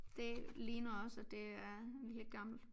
Det ligner også at det er lidt gammelt